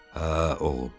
Hə, oğlum.